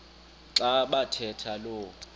xa bathetha lo